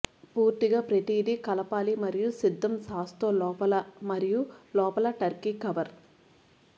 పూర్తిగా ప్రతిదీ కలపాలి మరియు సిద్ధం సాస్ తో లోపల మరియు లోపల టర్కీ కవర్